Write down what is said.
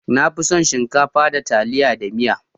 Ni na fi son shinkafa da taliya da miya.